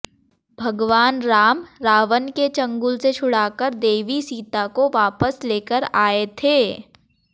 भगवान राम रावण के चंगुल से छुड़ाकर देवी सीता को वापस लेकर आए थे